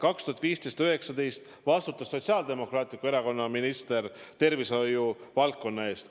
2015–2019 vastutas Sotsiaaldemokraatliku Erakonna minister tervishoiu valdkonna eest.